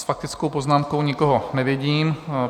S faktickou poznámkou nikoho nevidím.